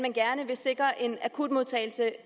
sikre